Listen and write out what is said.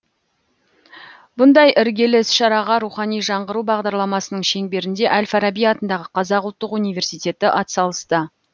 бұндай іргелі іс шараға рухани жаңғыру бағдарламасының шеңберінде әл фараби атындағы қазақ ұлттық университеті ат салысты